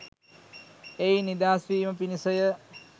එයින් නිදහස් වීම පිණිස ය